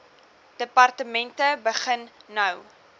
departemente begin nou